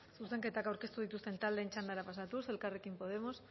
zuzenketak aurkeztu dituzten taldeen txandara pasatuz elkarrekin podemos